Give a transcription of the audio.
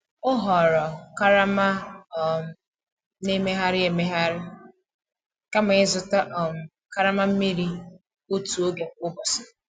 O họọrọ karama a um na-emegharị emegharị kama ịzụta um karama mmiri otu oge kwa ụbọchị.